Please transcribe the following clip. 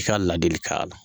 I ka ladilikan la.